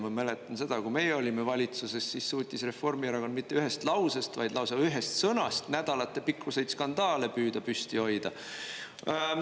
Ma mäletan seda, kui meie olime valitsuses, siis suutis Reformierakond mitte ühest lausest, vaid lausa ühest sõnast nädalate pikkused skandaale püüda püsti hoida.